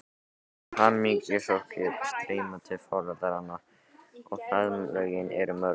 Hamingjuóskir streyma til foreldranna og faðmlögin eru mörg.